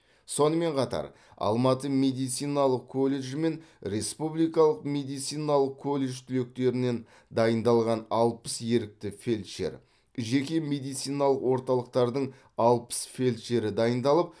сонымен қатар алматы медициналық колледжі мен республикалық медициналық колледж түлектерінен дайындалған алпыс ерікті фельдшер жеке медициналық орталықтардың алпыс фельдшері дайындалып